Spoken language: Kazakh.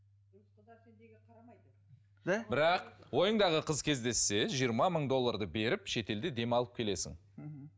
бірақ ойыңдағы қыз кездессе жиырма мың долларды беріп шетелде демалып келесің мхм